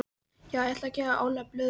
Já ég ætla að gefa Óla blöðrur.